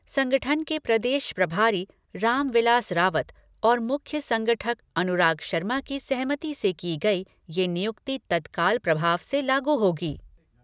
संगठन के प्रदेश प्रभारी राम विलास रावत और मुख्य संगठक अनुराग शर्मा की सहमति से की गई यह नियुक्ति तत्काल प्रभाव से लागू होगी।